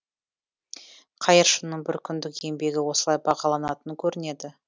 қайыршының бір күндік еңбегі осылай бағаланатын көрінеді